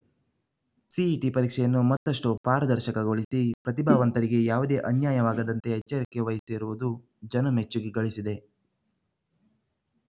CET ಪರೀಕ್ಷೆಯನ್ನು ಮತ್ತಷ್ಟು ಪಾರದರ್ಶಕಗೊಳಿಸಿ ಪ್ರತಿಭಾವಂತರಿಗೆ ಯಾವುದೇ ಅನ್ಯಾಯವಾಗದಂತೆ ಎಚ್ಚರಿಕೆ ವಹಿಸಿರುವುದು ಜನಮೆಚ್ಚುಗೆ ಗಳಿಸಿದೆ